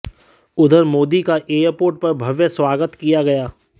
उधर मोदी का एयरपोर्ट पर भव्य स्वागत किया गया